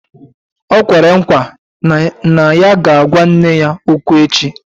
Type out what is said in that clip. O kwere nkwa na ya ga-agwa nne ya okwu echi